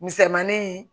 Misɛnmani